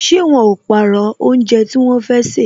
Ṣé wọn ó pàrọ̀ oúnjẹ tí wọn fẹ́ sè